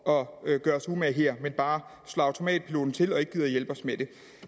gøre os umage her men bare slår automatpiloten til og ikke gider at hjælpe os med det